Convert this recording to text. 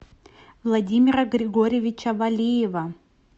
владимира григорьевича валиева